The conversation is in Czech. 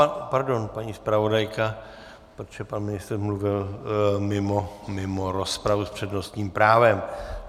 Aha, pardon, paní zpravodajka, protože pan ministr mluvil mimo rozpravu s přednostním právem.